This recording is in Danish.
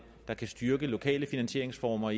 der kan styrke lokale finansieringsformer